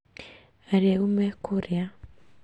Arĩu me kũrĩa